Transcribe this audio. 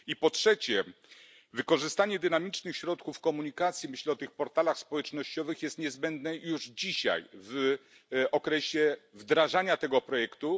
I po trzecie, wykorzystanie dynamicznych środków komunikacji myślę o tych portalach społecznościowych jest niezbędne już dzisiaj w okresie wdrażania tego projektu.